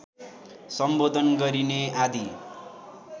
सम्बोधन गरिने आदि